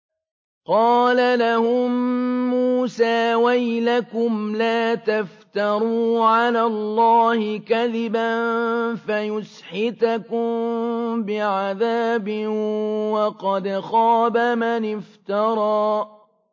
قَالَ لَهُم مُّوسَىٰ وَيْلَكُمْ لَا تَفْتَرُوا عَلَى اللَّهِ كَذِبًا فَيُسْحِتَكُم بِعَذَابٍ ۖ وَقَدْ خَابَ مَنِ افْتَرَىٰ